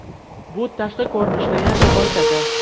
Bu tashqi ko‘rinishni yanada boyitadi.